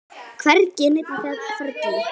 Hvergi er neinn á ferli.